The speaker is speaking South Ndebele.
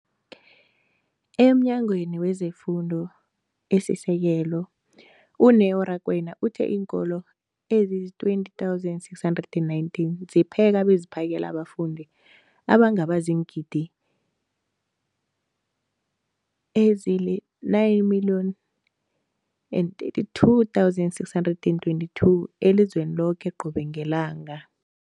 EmNyangweni wezeFundo esiSekelo, u-Neo Rakwena, uthe iinkolo ezizi-20 619 zipheka beziphakele abafundi abangaba ziingidi ezili-9 032 622 elizweni loke qobe ngelanga.